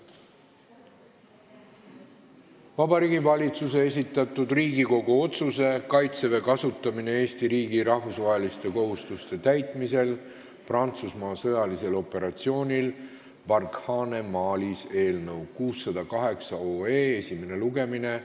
Vabariigi Valitsuse esitatud Riigikogu otsuse "Kaitseväe kasutamine Eesti riigi rahvusvaheliste kohustuste täitmisel Prantsusmaa sõjalisel operatsioonil Barkhane Malis" eelnõu esimene lugemine.